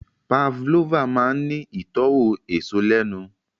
Pavlova máa ń ní ìtọ́wò èso lẹ́nu